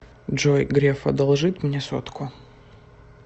джой греф одолжит мне сотку